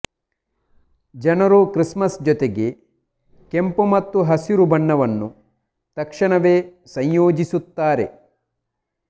ಜನರು ಕ್ರಿಸ್ಮಸ್ ಜೊತೆಗೆ ಕೆಂಪು ಮತ್ತು ಹಸಿರು ಬಣ್ಣವನ್ನು ತಕ್ಷಣವೇ ಸಂಯೋಜಿಸುತ್ತಾರೆ